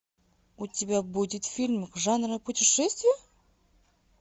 у тебя будет фильм жанра путешествия